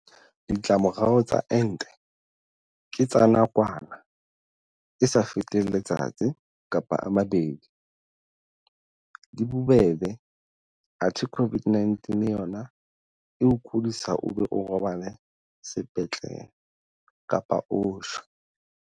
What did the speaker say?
Ditlamorao tsa ente ke tsa nakwana e sa feteng letsatsi kapa a mabedi, di bobebe athe COVID-19 yona e o kodisa o be o robale sepetlele kapa o shwe.